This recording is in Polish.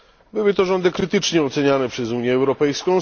Były to rządy krytycznie ocenianie przez Unię Europejską.